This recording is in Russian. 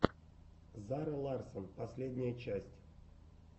зара ларссон последняя часть